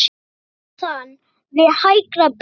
Neðan við hægra brjóst.